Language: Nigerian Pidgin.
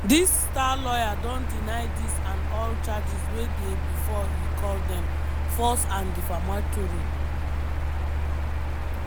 di star lawyer don deny dis and all charges wey dey bifor e call dem "false and defamatory".